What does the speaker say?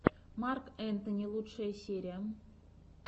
марк энтони лучшая серия